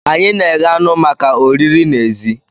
Anyi na-eghe anụ maka oriri n'èzí.